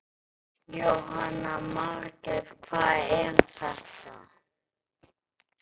Jóhanna Margrét: Hvað er þetta?